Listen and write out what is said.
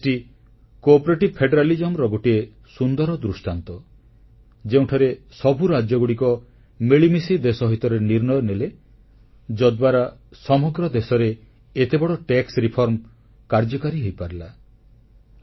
GST ସଙ୍ଘୀୟ ସହଯୋଗର ଗୋଟିଏ ସୁନ୍ଦର ଦୃଷ୍ଟାନ୍ତ ଯେଉଁଠାରେ ସବୁ ରାଜ୍ୟଗୁଡିକୁ ମିଳିମିଶି ଦେଶ ହିତରେ ନିର୍ଣ୍ଣୟ ନେଲେ ଯଦ୍ୱାରା ସମଗ୍ର ଦେଶରେ ଏତେ ବଡ଼ ଟିକସ ସଂସ୍କାର କାର୍ଯ୍ୟକାରୀ ହୋଇପାରିଲା